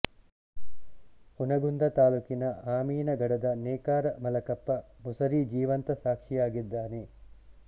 ಹುನಗುಂದ ತಾಲೂಕಿನ ಅಮೀನಗಡದ ನೇಕಾರ ಮಲಕಪ್ಪ ಮುಸರಿ ಜೀವಂತ ಸಾಕ್ಷಿಯಾಗಿದ್ದಾನೆ